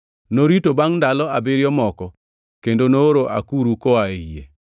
Norito bangʼ ndalo abiriyo moko kendo nooro akuru koa ei yie.